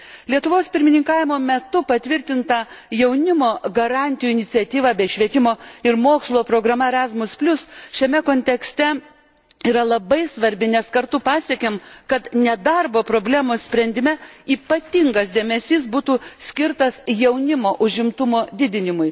Lietuvos pirmininkavimo metu patvirtinta Jaunimo garantijų iniciatyva bei švietimo ir mokslo programa Erasmus šiame kontekste yra labai svarbi, nes kartu pasiekėm, kad nedarbo problemos sprendime ypatingas dėmesys būtų skirtas jaunimo užimtumo didinimui.